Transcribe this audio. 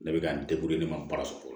Ne bɛ ka n ne ma baara sɔrɔ fɔlɔ